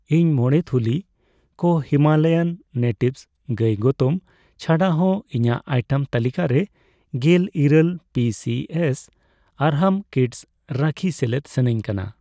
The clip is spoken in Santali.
ᱤᱧ ᱢᱚᱲᱮ ᱛᱷᱩᱞᱤ ᱠᱚ ᱦᱤᱢᱟᱞᱟᱭᱟᱱ ᱱᱮᱴᱤᱵᱷᱥ ᱜᱟᱹᱭ ᱜᱚᱛᱚᱢ ᱪᱷᱟᱰᱟ ᱦᱚ ᱤᱧᱟᱜ ᱟᱭᱴᱮᱢ ᱛᱟᱹᱞᱤᱠᱟ ᱨᱮ ᱜᱮᱞ ᱤᱨᱟᱹᱞ ᱯᱤᱹᱥᱤᱹᱮᱥ ᱟᱨᱦᱟᱢ ᱠᱤᱰᱥ ᱨᱟᱠᱷᱤ ᱥᱮᱞᱮᱫ ᱥᱟᱱᱟᱧ ᱠᱟᱱᱟ ᱾